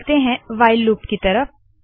अब चलते है व्हाइल वाइल लूप की तरफ